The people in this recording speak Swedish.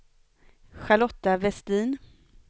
Charlotta Vestin